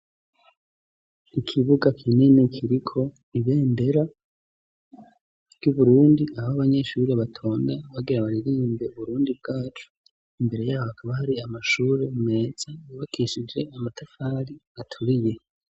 ikibuga kinini kiriko ibendera ry'Uburundi aho abanyeshure batonda bagira baririmbe Burundi bwacu, imbere yaho hakaba hari amashure meza yubakishije amatafari aturiye.